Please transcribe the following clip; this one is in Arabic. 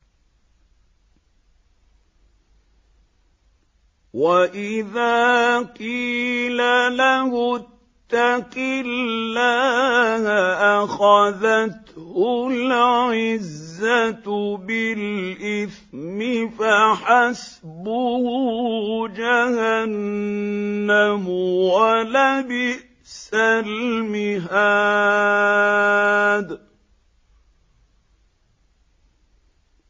وَإِذَا قِيلَ لَهُ اتَّقِ اللَّهَ أَخَذَتْهُ الْعِزَّةُ بِالْإِثْمِ ۚ فَحَسْبُهُ جَهَنَّمُ ۚ وَلَبِئْسَ الْمِهَادُ